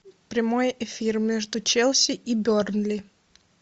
прямой эфир между челси и бернли